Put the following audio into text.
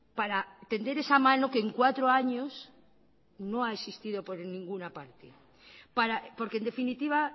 para tender esa mano que en cuatro años no ha existido por ninguna parte porque en definitiva